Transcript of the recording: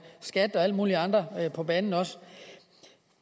skat og alle mulige andre på banen